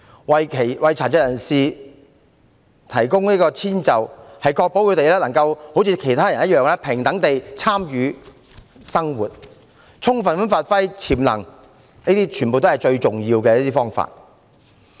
為殘疾人士提供遷就可確保他們能夠跟其他人一樣平等地參與生活，充分發揮潛能，是最重要的方法。